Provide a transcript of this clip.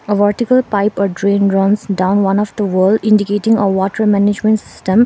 a vertical pipe or drain runs down one of the wall indicating a water management system.